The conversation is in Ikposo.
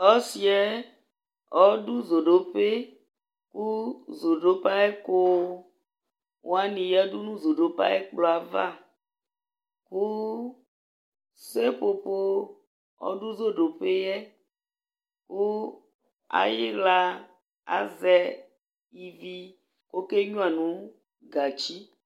Ɔsɩ ƴɛ ɔɖʋ zoɖopeZodope aƴʋ ɛƙʋ wanɩ ƴǝɖu nʋ zoɖope aƴʋ ɛƙplɔ ƴɛ avaSepopo ɔɖʋ zoɖope ƴɛ ,ƙʋ aƴɩɣla azɛ ivi ƙʋ ɔkenƴua nʋ gatsi